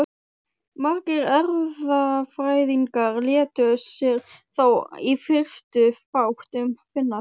Margir erfðafræðingar létu sér þó í fyrstu fátt um finnast.